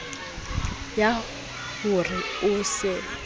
ya ho re o se